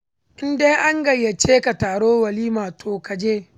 In dai an gayyace ka taron walima to ka je.